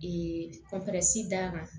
d'a ma